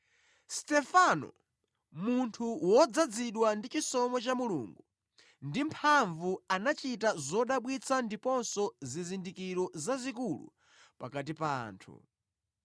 Stefano, munthu wodzazidwa ndi chisomo cha Mulungu ndi mphamvu anachita zodabwitsa ndiponso zizindikiro zazikulu pakati pa anthu.